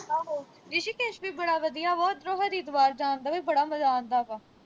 ਆਹੋ, ਰਿਸ਼ੀਕੇਸ਼ ਵੀ ਬੜਾ ਵਧੀਆ ਵਾ। ਉਧਰੋ ਹਰਿਦੁਆਰ ਜਾਣ ਦਾ ਵੀ ਬੜਾ ਮਜ਼ਾ ਆਂਦਾ ਵਾ।